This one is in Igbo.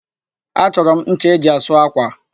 Achọrọ m ncha eji asụ ákwà.